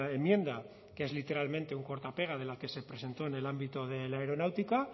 enmienda que es literalmente un corta pega de la que se presentó en el ámbito de la aeronáutica